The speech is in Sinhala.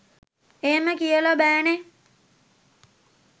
එහෙම කියල බෑනේ